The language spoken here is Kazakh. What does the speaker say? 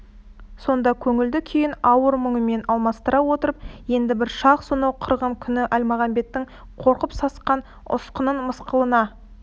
сонда көңілді күйін ауыр мұңымен алмастыра отырып енді бір шақ сонау қырғын күні әлмағамбеттің қорқып сасқан ұсқынын мысқылына